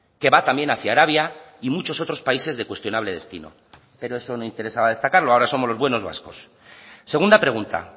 que va también hacia arabia y muchos otros países de cuestionable destino pero eso no interesaba destacarlo ahora somos los buenos vascos segunda pregunta